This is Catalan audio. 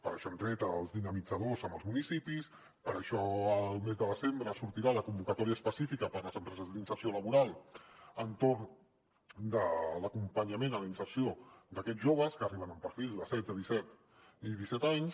per això hem tret els dinamitzadors als municipis per això al mes de desembre sortirà la convocatòria específica per a les empreses d’inserció laboral per a l’acompanyament en la inserció d’aquests joves que arriben amb perfils de setze i disset anys